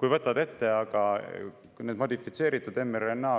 Kui võtad ette aga need COVID-19 modifitseeritud mRNA